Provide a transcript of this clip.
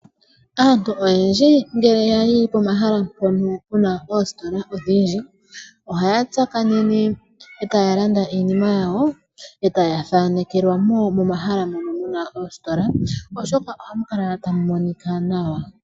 Aantu oyendji ngele yayi pomahala mpono puna oositola odhindji, ohaya tsakanene, e taya landa iinima yawo, e taya thaanekelwamo momahala mono muna oositola, oshoka ohamu kala tamu monika nawa.